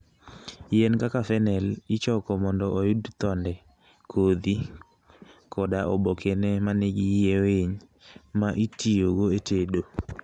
Yien kaka fennel ichoko mondo oyud thode, kodhi, koda obokene ma nigi yie winy, ma itiyogo e tedo.